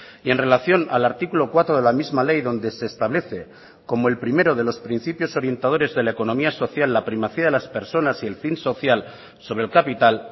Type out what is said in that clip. y en relación al artículo cuatro de la misma ley donde se establece como el primero de los principios orientadores de la economía social la primacía de las personas y el fin social sobre el capital